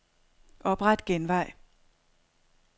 Opret genvej.